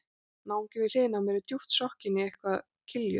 Náunginn við hliðina á mér er djúpt sokkinn í eitthvað kilju